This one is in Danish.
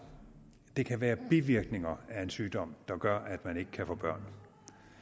det kan være bivirkninger af en sygdom der gør at man ikke kan få børn